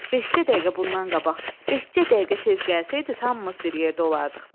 Beş-cə dəqiqə bundan qabaq, beş-cə dəqiqə tez gəlsəydiniz, hamımız bir yerdə olardıq.